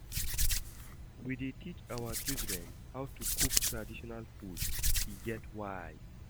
We dey teach our children how to cook traditional food, e get why.